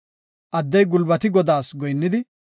Addey gulbatidi Godaa goyinnidi,